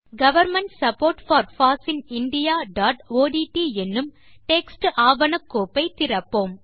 government support for foss in indiaஒட்ட் என்னும் text ஆவண கோப்பை திறப்போம்